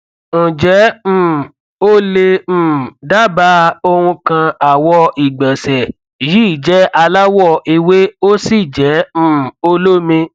ǹjẹ um o lè um dábàá ohun kan àwọ ìgbọnsẹj yìí jẹ alawọ ewé ósì jẹ um olómi